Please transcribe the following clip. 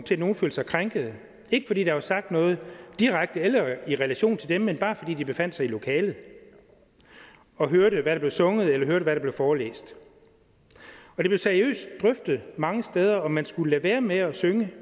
til at nogle følte sig krænkede ikke fordi der har sagt noget direkte eller i relation til dem men bare fordi de befandt sig i lokalet og hørte hvad der blev sunget eller hørte hvad der blev forelæst og det blev seriøst drøftet mange steder om man skulle lade være med at synge